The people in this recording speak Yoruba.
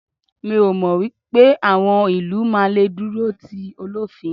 mi o mọ pé awọn ilu ma le duro ti olofin